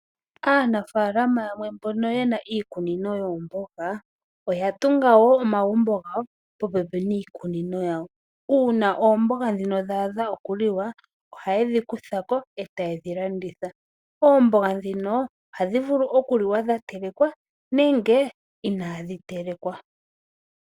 Aanafaalama yamwe mbono ye na iikunino yoomboga oya tunga omagumbo gawo popepi niikunino yawo. Uuna oomboga dha adha okuliwa ohaye dhi kutha ko e taye dhi landitha po. Oomboga ohadhi vulu okuliwa dha telekwa nenge inaadhi telekwa.